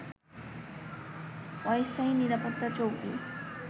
অস্থায়ী নিরাপত্তা চৌকি